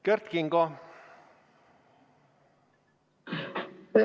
Kert Kingo, palun!